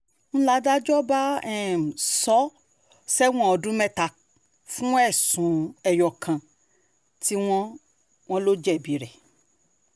n ládájọ́ bá um sọ ọ́ sẹ́wọ̀n ọdún mẹ́ta fún ẹ̀sùn ẹyọ kan tí um wọ́n wọ́n lò jẹ̀bi rẹ̀